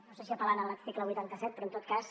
no sé si apel·lant a l’article vuitanta set però en tot cas